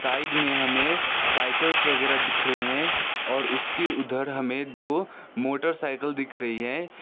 Side में हमें cycles वगैरा दिख रहे हैं और उसकी उधर हमें दो मोटरसाइकिल दिख रही है।